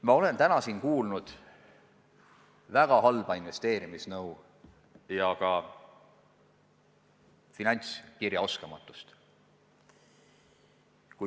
Ma olen siin täna kuulnud väga halba investeerimisnõu ja täheldanud ka finantskirjaoskamatust.